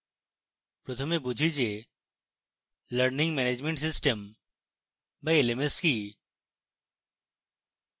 প্রথমে বুঝি যে learning management system বা lms কি